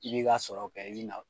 I bɛ i k'a sɔrɔ kɛ i bɛ na